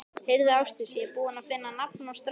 Heyrðu Ásdís, ég er búinn að finna nafn á strákinn.